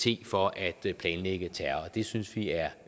for at planlægge terror det synes vi er